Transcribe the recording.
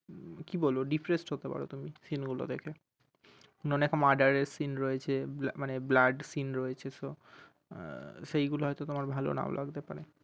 কি বলব depressed হতে পারো তুমি seen গুলো দেখে অনেক murder seen রয়েছে ব~ মানে blood seen রয়েছে so আহ সেইগুলো হয়তো তোমার ভাল নাও লাগতে পারে